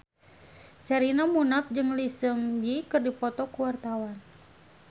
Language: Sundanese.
Sherina Munaf jeung Lee Seung Gi keur dipoto ku wartawan